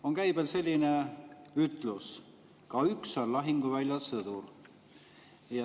On käibel selline ütlus, et ka üks on lahinguväljal sõdur.